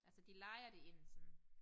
Altså de leger det ind sådan